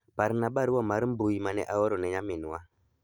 Parna barua mar mbui mane aoro ne nyaminwa